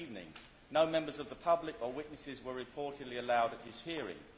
that evening. No members of the public or witnesses were reportedly allowed at his hearing.